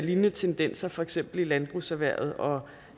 lignende tendenser for eksempel i landbrugserhvervet og